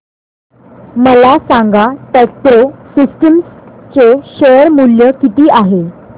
मला सांगा Tecpro Systems चे शेअर मूल्य किती आहे